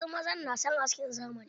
Wasu mazan na son askin zamani